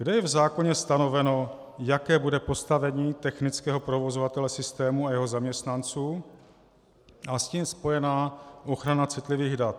Kde je v zákoně stanoveno, jaké bude postavení technického provozovatele systému a jeho zaměstnanců a s tím spojená ochrana citlivých dat?